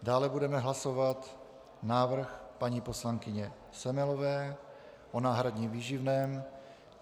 Dále budeme hlasovat návrh paní poslankyně Semelové o náhradním výživném.